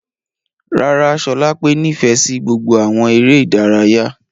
Rárá, Sholape nifẹ si gbogbo awọn ere idaraya.